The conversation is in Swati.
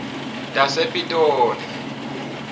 tasepitoli